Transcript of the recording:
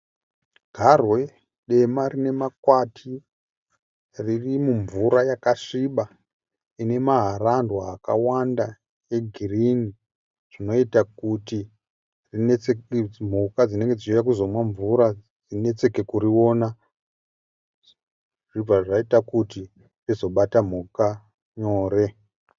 Garwe dema rine makwati riri mumvura yakasviba ine maharandwa akawanda eghirini zvinoita kuti mhuka dzinenge dzichiuya kuzomwa mvura dzinetseke kuriona zvobva zvaita kuti rizobata mhuka nyore.